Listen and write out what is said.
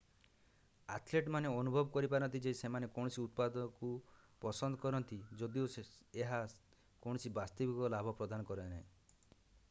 ଆଥେଲେଟମାନେ ଅନୁଭବ କରିପାରନ୍ତି ଯେ ସେମାନେ କୌଣସି ଉତ୍ପାଦକୁ ପସନ୍ଦ କରନ୍ତି ଯଦିଓ ଏହା କୌଣସି ବାସ୍ତବିକ ଲାଭ ପ୍ରଦାନ କରେ ନାହିଁ